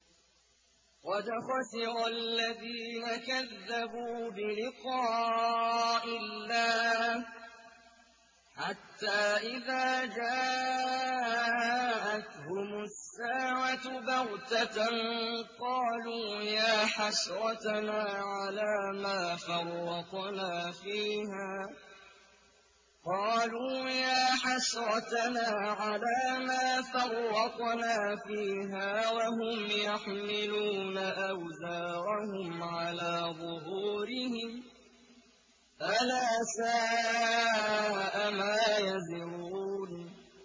قَدْ خَسِرَ الَّذِينَ كَذَّبُوا بِلِقَاءِ اللَّهِ ۖ حَتَّىٰ إِذَا جَاءَتْهُمُ السَّاعَةُ بَغْتَةً قَالُوا يَا حَسْرَتَنَا عَلَىٰ مَا فَرَّطْنَا فِيهَا وَهُمْ يَحْمِلُونَ أَوْزَارَهُمْ عَلَىٰ ظُهُورِهِمْ ۚ أَلَا سَاءَ مَا يَزِرُونَ